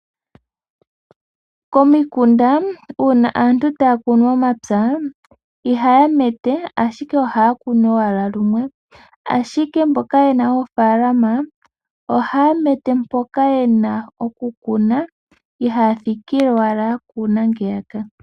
Komikunda uuna aantu taya kunu omapya, iha ya mete ashike oha ya kunu owala lumwe, ashike mboka ye na oofaalama ohaya mete mpoka ye na okukuna. Ihaya thikile owala yakuna ngeyaka.